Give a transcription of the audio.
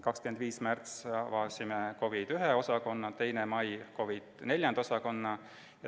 25. märtsil avasime COVID I osakonna, 2. mail COVID IV osakonna.